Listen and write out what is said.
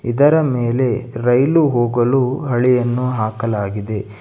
ಇದರ ಮೇಲೆ ರೈಲು ಹೋಗಲು ಅಳಿಯನ್ನು ಹಾಕಲಾಗಿದೆ.